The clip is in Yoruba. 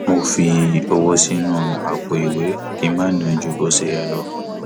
mo fi owó sínú àpò ìwé kí n má ná ju bó ṣe yẹ lọ